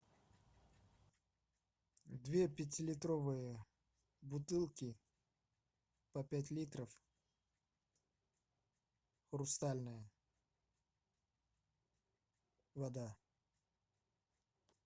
две пятилитровые бутылки по пять литров хрустальная вода